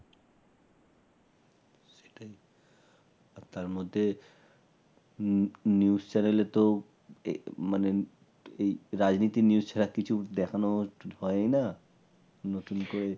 তার মধ্যে news news channel এ তো এই মানে এই রাজনীতি News ছাড়া কিছুই দেখানো হয় না নতুন করে